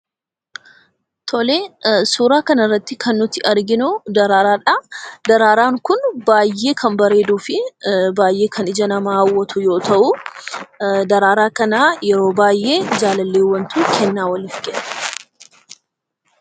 Suuraa kanarratti kan nuti arginuu daraaraadhaa. Daraaraan kun baay'ee kan bareeduu fi baay'ee ija namaa kan hawwatu yoo ta'uu, daraaraa kana yeroo baay'ee jaalalleewwantu kennaa waliif kenna.